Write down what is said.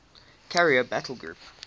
carrier battle group